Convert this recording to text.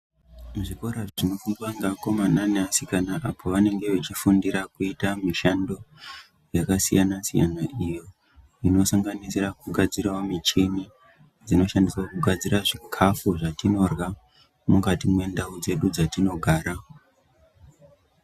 Kuzvikora zvinofundwa ngevakomana nevasikana apo vanenge vachifundira kuita mishando yakasiyana siyana iyo inosanganisira kugadzirawo michini dzinoshandiswa kugadzira chikafu zvatinorya mukati mwendau dzedu dzatinogara